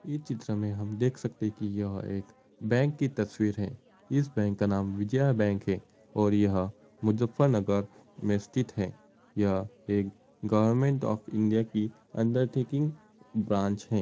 ये चित्र में हम देख सकते है कि यह एक बैंक की तस्वीर है। इस बैंक का नाम विजया बैंक है और यह मुजफ्फरनगर में स्थित है। यह एक गवर्नमेंट ऑफ इंडिया की अंडरटेकिंग ब्रांच है।